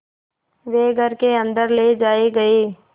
वे घर के अन्दर ले जाए गए